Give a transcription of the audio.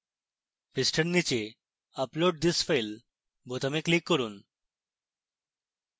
পৃষ্ঠার নীচে upload this file বোতামে click করুন